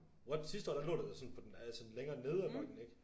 What sidste år der lå det da sådan på den altså længere nede af bakken ikke?